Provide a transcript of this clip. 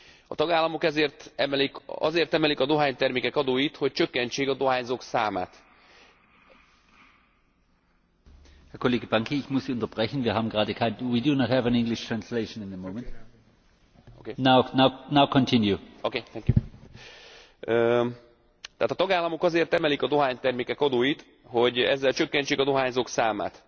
A tagállamok azért emelik a dohánytermékek adóit, hogy csökkentsék a dohányzók számát,